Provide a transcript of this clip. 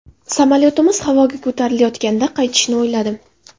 Samolyotimiz havoga ko‘tarilayotganda qaytishni o‘yladim.